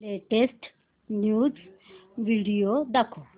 latest news video दाखव